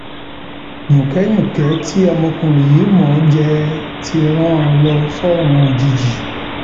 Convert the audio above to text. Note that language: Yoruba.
yùnkẹyúnkẹ tí ọmọkùnrin yìí mọ ọn jẹ ti rán an lọ sọrun òjijì